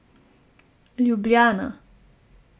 Ljubljana.